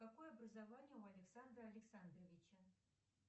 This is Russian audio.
какое образование у александра александровича